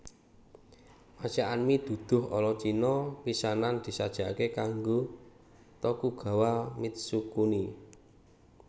Masakan mi duduh ala Cina pisanan disajékaké kanggo Tokugawa Mitsukuni